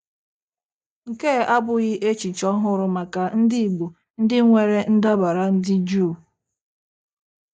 Nke a abụghị echiche ọhụrụ maka ndị Igbo ndị nwere ndabara ndị juu.